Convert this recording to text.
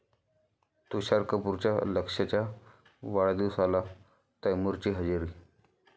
तुषार कपूरच्या लक्ष्यच्या वाढदिवसाला तैमुरची हजेरी